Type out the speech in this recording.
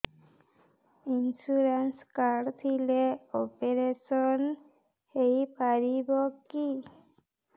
insurance card ଥିଲେ operation ହେଇପାରିବ କି